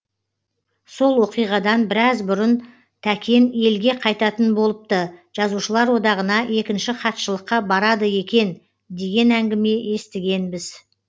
сол оқиғадан біраз бұрын тәкен елге қайтатын болыпты жазушылар одағына екінші хатшылыққа барады екен деген әңгіме естігенбіз